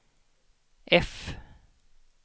F